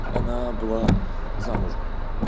она была замужем